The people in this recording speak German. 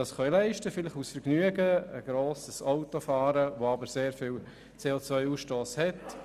Sie können es sich vielleicht aus Vergnügen leisten, ein grosses Auto zu fahren, das einen sehr hohen CO-Ausstoss hat.